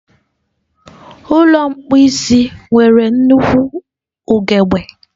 Ụlọ mposi nwere nnukwu ugegbe.